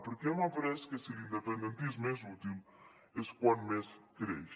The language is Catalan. perquè hem après que si l’independentisme és útil és quan més creix